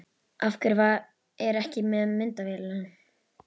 Af hverju er ég ekki með myndavélina?